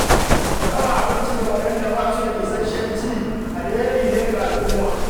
Raba abinci da waɗanda ba su da isasshen ci alheri ne ga al'umma.